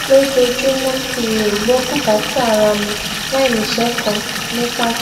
lójoojúmó kí n lè gbó bùkátà ara mi láì ni iṣé kan ni pato